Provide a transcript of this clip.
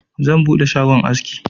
Zan buɗe shagon aski.